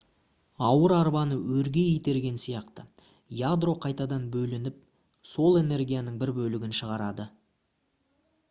ауыр арбаны өрге итерген сияқты ядро қайтадан бөлініп сол энергияның бір бөлігін шығарады